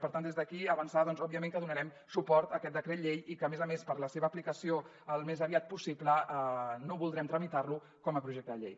per tant des d’aquí avançar òbviament que donarem suport a aquest decret llei i que a més a més per la seva aplicació al més aviat possible no voldrem tramitar lo com a projecte de llei